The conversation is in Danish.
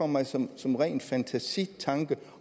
mig som som ren fantasi